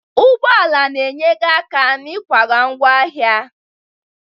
Ụgbọ ala na-enyere aka n'ịkwaga ngwa ahịa.